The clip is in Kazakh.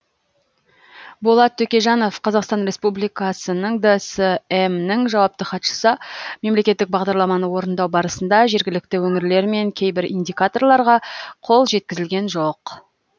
болат төкежанов қазақстан республикасының дсм нің жауапты хатшысы мемлекеттік бағдарламаны орындау барысында жергілікті өңірлер мен кейбір индикаторларға қол жеткізілген жоқ